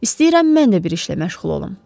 İstəyirəm mən də bir işlə məşğul olum.